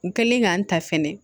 U kɛlen k'an ta fɛnɛ